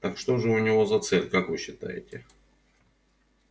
так что же у него за цель как вы считаете